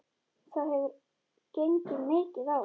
Það hefur gengið mikið á!